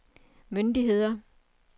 myndigheder